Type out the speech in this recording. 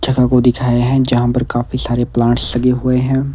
जगह को दिखाए हैं जहां पर काफी सारे प्लांट्स लगे हुए हैं।